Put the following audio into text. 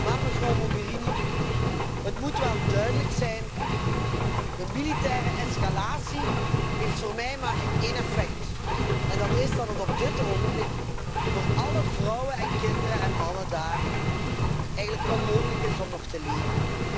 Maar, mevrouw Mogherini, het moet wel duidelijk zijn de militaire escalatie heeft voor mij maar één effect en dat is dat het op dit ogenblik voor alle vrouwen en kinderen en mannen daar eigenlijk onmogelijk is om nog te leven.